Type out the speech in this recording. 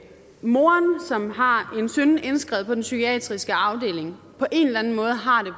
moren som har en søn indskrevet på den psykiatriske afdeling på en eller anden måde har det